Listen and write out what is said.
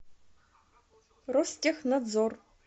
ростехнадзор